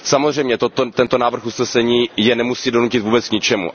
Samozřejmě tento návrh usnesení je nemusí donutit vůbec k ničemu.